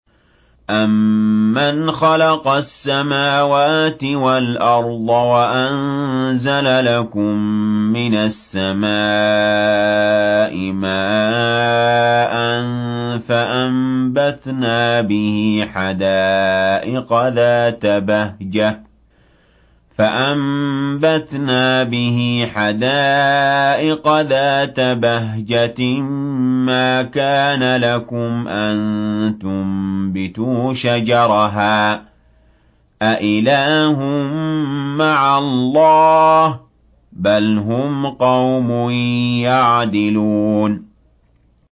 أَمَّنْ خَلَقَ السَّمَاوَاتِ وَالْأَرْضَ وَأَنزَلَ لَكُم مِّنَ السَّمَاءِ مَاءً فَأَنبَتْنَا بِهِ حَدَائِقَ ذَاتَ بَهْجَةٍ مَّا كَانَ لَكُمْ أَن تُنبِتُوا شَجَرَهَا ۗ أَإِلَٰهٌ مَّعَ اللَّهِ ۚ بَلْ هُمْ قَوْمٌ يَعْدِلُونَ